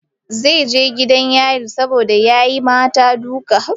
Zai je gidan yari saboda ya yi mata duka.